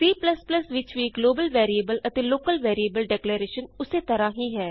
C ਵਿਚ ਵੀ global variable ਅਤੇ ਲੋਕਲ ਵੈਰੀਏਬਲ ਡੇਕਲੇਰੇਸ਼ਨ ਉਸ ਤਰ੍ਹਾਂ ਹੀ ਹੈ